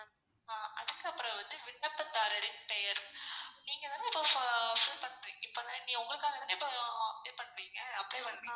ஆஹ் அதுக்கு அப்பரம் வந்து விண்ணப்பதாரரின் பெயர் நீங்கதான நீங்க உங்களுக்காக தான இப்போ apply பண்றீங்க apply